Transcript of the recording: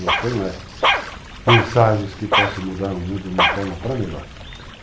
Meu sonho é mensagens que possam mudar o mundo de uma forma para melhor.